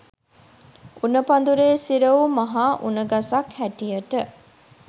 උණ පඳුරේ සිර වූ මහා උණ ගසක් හැටියට